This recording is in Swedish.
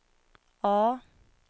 A